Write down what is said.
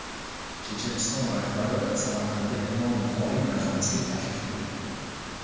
Checheniston rahbari Samarqandda Imom Buxoriy majmuasiga tashrif buyurdi.